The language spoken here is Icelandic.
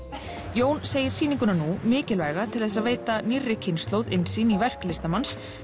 Jón segir sýninguna nú mikilvæga til þess að veita nýrri kynslóð innsýn í verk listamanns